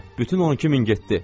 Nənə, bütün 12000 getdi,